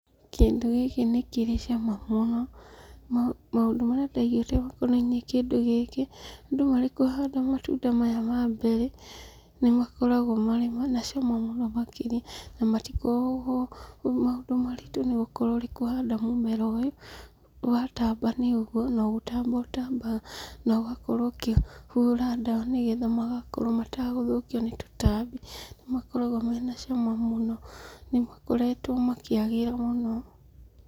Kĩndũ gĩkĩ nĩkĩrĩ cama mũno, ma maũndũ marĩa ndaiguĩte makonainiĩ na kĩndũ gĩkĩ, andũ marĩkũhanda matunda maya ma mberĩ, nĩmakoragwo marĩ na cama mũno makĩria, na matikoragwo maũndũ maritũ nĩgũkorwo ũrĩkũhanda mũmera ũyũ, watamba nĩũguo, nogũtamba ũtambaga, na ũgakorwo ũkĩhũra ndawa nĩgetha makorwo mategũthũkio nĩ tũtambi. Nĩmakoragwo mena cama mũno, nĩmakoretwo makĩagĩra mũno.